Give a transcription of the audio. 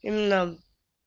именно